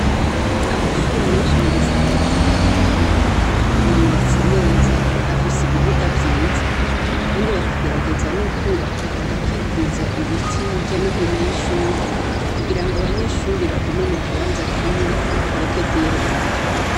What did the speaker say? Amashure menshi mu gisagara ca Bujumbura ubu yubatse neza, afise ibibuga vyiza kandi bakagerageza n'ukubaka bagakikuza ibiti hirya n'ino y'ishure kugirango abanyeshure bagume mu kibanza kimwe, bareka kuyeyerera